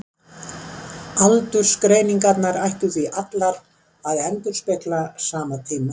Aldursgreiningarnar ættu því allar að endurspegla sama tíma.